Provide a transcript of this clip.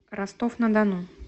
ростов на дону